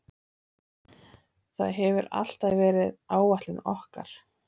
Það hefur alltaf verið áætlun okkar.